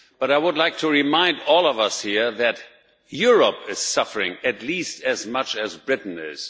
I would like to remind all of us here that Europe is suffering at least as much as Britain is.